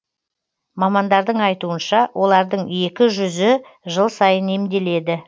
мамандардың айтуынша олардың екі жүзі жыл сайын емделеді